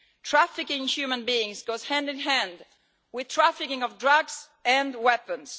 Trafficking in human beings goes hand in hand with trafficking of drugs and weapons.